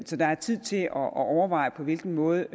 så der er tid til at overveje på hvilken måde